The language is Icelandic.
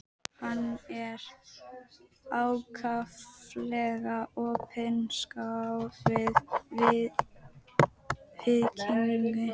Hann er ákaflega opinskár í viðkynningu.